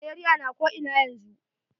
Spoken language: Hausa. Malaria na ko ina yanzu.